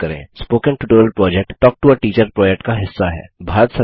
spoken tutorial project talk to a teacher project का हिस्सा है